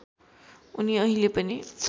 उनी अहिले पनि